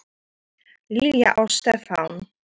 Lilja og Stefán.